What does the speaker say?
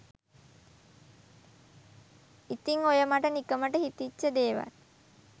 ඉතින් ඔය මට නිකමට හිතිච්ච දේවල්